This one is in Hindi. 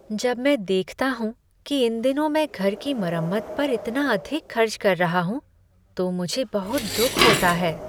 जब मैं देखता हूँ कि इन दिनों मैं घर की मरम्मत पर इतना अधिक खर्च कर रहा हूँ तो मुझे बहुत दुख होता है।